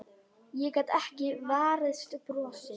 Ég gat ekki varist brosi.